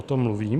O tom mluvím.